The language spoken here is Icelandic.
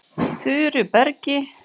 Furubergi